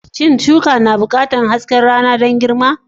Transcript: Shin shuka na buƙatar hasken rana don girma?